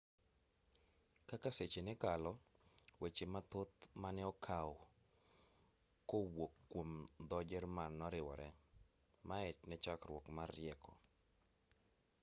kaka seche nekalo weche mathoth maneokaw kowuok kuom dho jerman noriwore mae nechakruok mar rieko